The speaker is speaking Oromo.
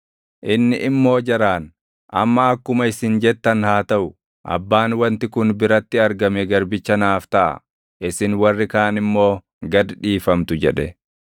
Inni immoo jaraan, “Amma akkuma isin jettan haa taʼu; abbaan wanti kun biratti argame garbicha naaf taʼa; isin warri kaan immoo gad dhiifamtu” jedhe.